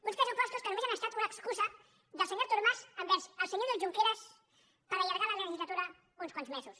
uns pressupostos que només han estat una excusa del senyor artur mas envers el senyor oriol junqueras per allargar la legislatura uns quants mesos